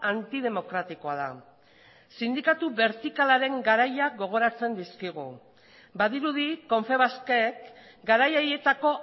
antidemokratikoa da sindikatu bertikalaren garaia gogoratzen dizkigu badirudi confebaskek garai haietako